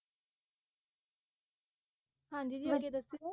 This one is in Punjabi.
ਹਾਂਜੀ ਜੀ ਅੱਗੇ ਦੱਸੋ,